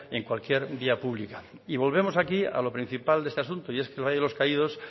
en cualquier vía pública y volvemos aquí al principal de los asuntos y es que el valle de los caídos